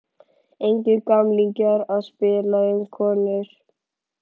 Engir gamlingjar að spila um konur.